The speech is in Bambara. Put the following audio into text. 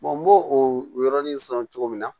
n b'o o yɔrɔnin sɔrɔ cogo min na